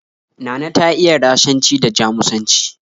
Nana ta iya Rashanci da Jamusanci